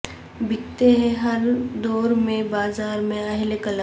بکتے ہیں ہر دور میں بازار میں اہل قلم